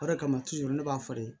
O de kama ne b'a fɔ de